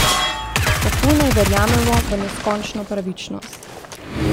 Kako naj verjamemo v neskončno pravičnost?